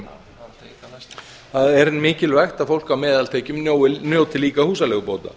tekjum það er mikilvægt að fólk á meðaltekjum njóti líka húsaleigubóta